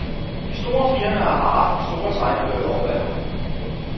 De store firmaer har haft de store tegnebøger oppe af lommen.